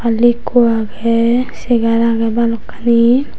balli ikko agey chegar agey balokkani.